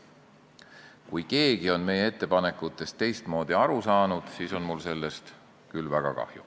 Kui keegi on meie ettepanekutest teistmoodi aru saanud, siis on mul sellest küll väga kahju.